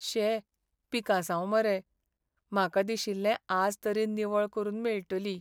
शे, पिकासांव मरे. म्हाका दिशिल्लें आज तरी निवळ करून मेळटली.